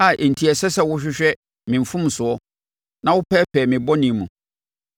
a enti ɛsɛ sɛ wohwehwɛ me mfomsoɔ na wopɛɛpɛɛ me bɔne mu?